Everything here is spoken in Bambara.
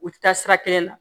U ti taa sira kelen na